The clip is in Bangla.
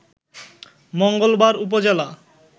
মঙ্গলবার উপজেলা